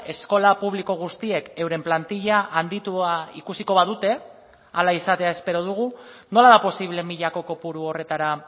eskola publiko guztiek euren plantilla handitua ikusiko badute hala izatea espero dugu nola da posible milako kopuru horretara